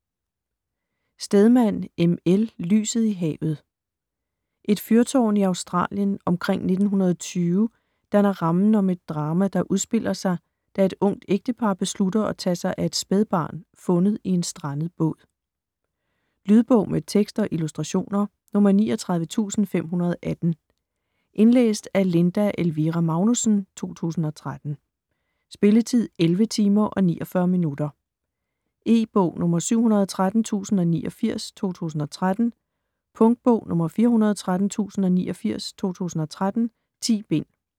Stedman, M. L.: Lyset i havet Et fyrtårn i Australien omkring 1920 danner rammen om et drama, der udspiller sig, da et ungt ægtepar beslutter at tage sig af et spædbarn fundet i en strandet båd. Lydbog med tekst og illustrationer 39518 Indlæst af Linda Elvira Magnussen, 2013. Spilletid: 11 timer, 49 minutter. E-bog 713089 2013. Punktbog 413089 2013. 10 bind.